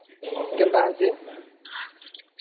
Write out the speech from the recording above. କେନ୍ତା ଆସି ?